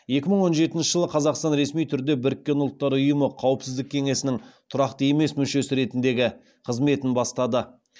екі мың он жетінші жылы қазақстан ресми түрде біріккен ұлттар ұйымы қауіпсіздік кеңесінің тұрақты емес мүшесі ретіндегі қызметін бастады